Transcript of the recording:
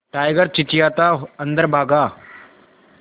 tiger चिंचिंयाता अंदर भागा